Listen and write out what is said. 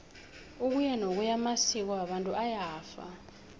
ukuyanokuya amasko wabantu ayafa